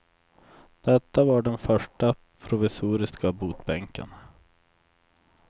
Detta var den första provisoriska botbänken.